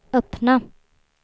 öppna